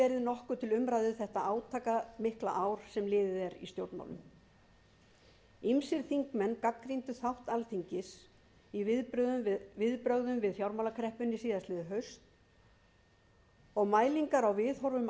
nokkuð til umræðu þetta átakamikla ár sem liðið er í stjórnmálum ýmsir þingmenn gagnrýndu þátt alþingis í viðbrögðum við fjármálakreppunni síðastliðið haust og mælingar á viðhorfum